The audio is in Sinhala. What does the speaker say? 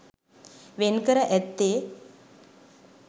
වෙන්කර ඇත්තේ